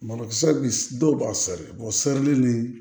Malokisɛ bi dɔw b'a seri serili ni